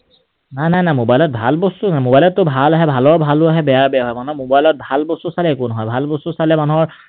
নাই, নাই, নাই mobile ত ভাল বস্তুও আহে। mobile ত তো ভাল আহে ভালৰো ভাল আহে, বেয়াৰো বেয়া আহে। মানুহৰ mobile ত ভাল বস্তু চালেও একো নহয়। ভাল বস্তু চালে মানুহৰ